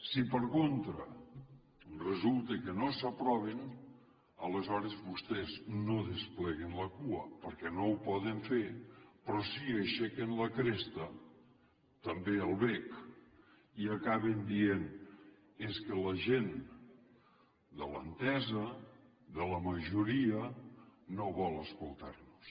si per contra resulta que no s’aproven aleshores vostès no despleguen la cua perquè no ho poden fer però sí que aixequen la cresta també el bec i acaben dient és que la gent de l’entesa de la majoria no vol escoltar nos